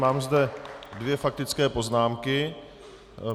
Mám zde dvě faktické poznámky.